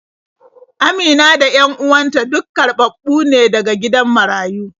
Amina da 'yan uwan ta duk karɓaɓɓu ne daga gidan marayu.